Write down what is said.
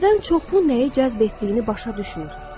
Bizdən çoxu nəyi cəzb etdiyini başa düşmür.